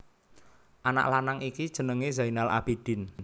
Anak lanang iki jenengé Zainal Abidin